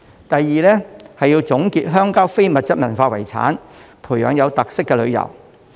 第二，要總結鄉郊的非遺，培養有特色的旅遊。